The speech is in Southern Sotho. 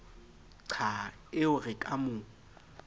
qha eo re ka mo